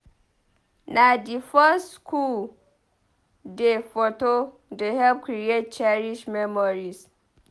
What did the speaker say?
Na di first schoo day foto dey help create cherished memories.